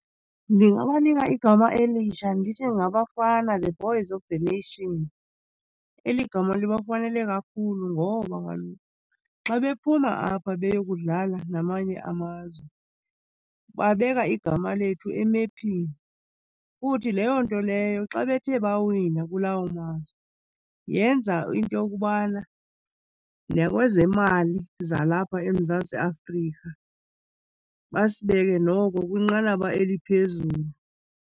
Ndingabanika igama elitsha ndithi ngaBafana, The Boys of the Nation. Eli gama libafanele kakhulu ngoba kaloku xa bephuma apha beyokudlala namanye amazwe babeka igama lethu emephini futhi leyo nto leyo xa bethe bawina kulawo mazwe, yenza into yokubana nakwezemali zalapha eMzantsi Afrika basibeke noko kwinqanaba eliphezulu.